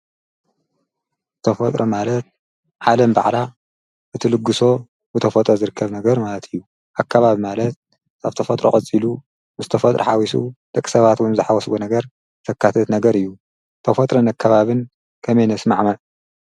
ተፈጥሮ ማለት ዓለም ባዕላ እቲ ልግሶ ብተፈጦ ዝርከብ ነገር ማለት እዩ ኣካባብ ማለት ኣብተፈጥሮ ቐጺሉ ምስተፈጥሪ ኃዊሱ ደቕሰባትውምዝሓወስዎ ነገር ፈካተት ነገር እዩ ተፈጥረ ነከባብን ከመነስ መዕማል።